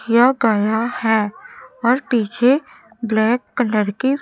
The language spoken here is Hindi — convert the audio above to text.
यह गया हैं और पीछे ब्लैक कलर के--